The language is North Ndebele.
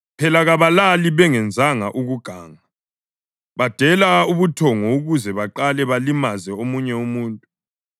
Phela kabalali bengenzanga ukuganga; badela ubuthongo ukuze baqale balimaze omunye umuntu.